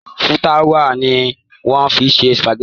Fúláwà ni wọ́n fi ń ṣe sùpàgẹ́tì.